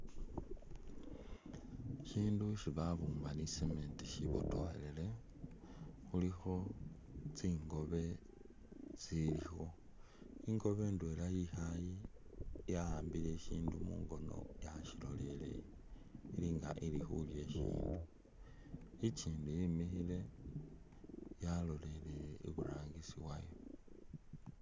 Ishindu isi babumba ni cement shibotokhelele khulikho tsingobe tsilikho , ingobe indwela yikhale yawambile ishindu mungono yashiloleleye ilinga ili khulya ishindu ikyindi yimikhile yaloleleye iburangisi wayo.